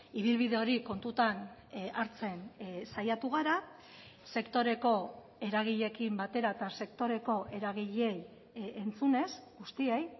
ibilbide hori kontutan hartzen saiatu gara sektoreko eragileekin batera eta sektoreko eragileei entzunez guztiei